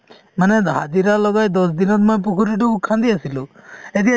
মানে হাজিৰা লগাই দহ দিনত মই পুখুৰীতো খান্দি আছিলো এতিয়া